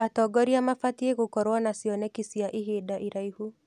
Atongoria mabatiĩ gũkorwo na cioneki cia ihinda iraihu.